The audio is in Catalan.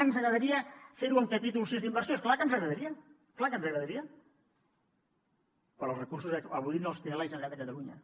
ens agradaria fer ho amb capítol sis d’inversió és clar que ens agradaria és clar que ens agradaria però els recursos avui no els té la generalitat de catalunya